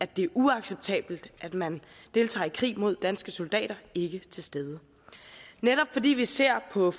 det er uacceptabelt at man deltager i krig mod danske soldater ikke til stede netop fordi vi ser på